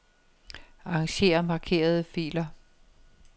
Arranger markerede filer.